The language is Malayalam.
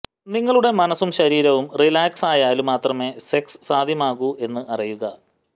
നിങ്ങളുടെ മനസും ശരീരവും റിലാക്സായാല് മാത്രമേ സെക്സ് സാധ്യമാകൂ എന്ന് അറിയുക